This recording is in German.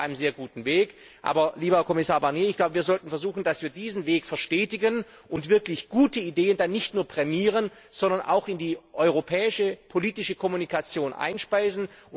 Wir sind auf einem sehr guten Weg, aber lieber Kommissar Barnier, ich glaube, wir sollten versuchen, dass wir diesen Weg verstetigen und richtig gute Ideen dann nicht nur prämieren, sondern auch in die europäische politische Kommunikation einspeisen.